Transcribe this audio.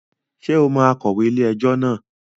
Ṣe o mo akọ̀wé ilé ẹjọ́ náà